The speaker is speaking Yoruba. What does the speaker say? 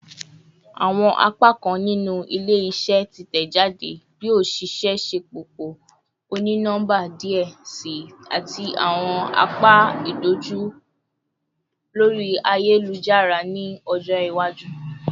Awọn apakan ninu ile-iṣẹ titẹjade yoo ṣee ṣe ṣepọpọ oni-nọmba diẹ sii ati awọn apa idojukọ lori ayelujara ni ọjọ iwaju